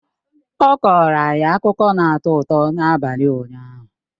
Ọ kọọrọ anyị akụkọ na-atọ ụtọ n'abalị ụnyaahụ